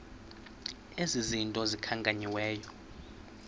ezi zinto zikhankanyiweyo